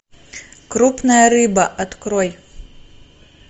крупная рыба открой